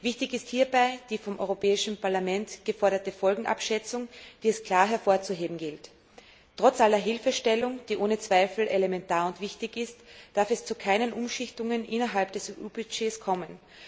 Wichtig ist hierbei die vom Europäischen Parlament geforderte Folgenabschätzung, die es klar hervorzuheben gilt. Trotz aller Hilfestellung, die ohne Zweifel elementar und wichtig ist, darf es zu keinen Umschichtungen innerhalb des EU Budgets kommen.